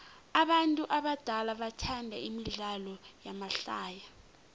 abantu abadala bathanda imidlalo yamahlaya